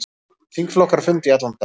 Þingflokkar funda í allan dag